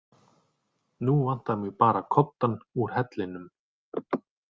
Nú vantar mig bara koddann úr hellinum